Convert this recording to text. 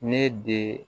Ne de